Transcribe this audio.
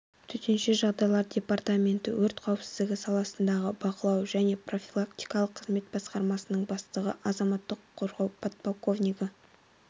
төтенше жағдайлар департаменті өрт қауіпсіздігі саласындағы бақылау және профилактикалық қызмет басқармасының бастығы азаматтық қорғау подполковнигі